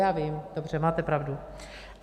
Já vím, dobře, máte pravdu.